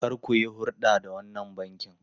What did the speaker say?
Kar ku yi hurɗa da wannan bankin!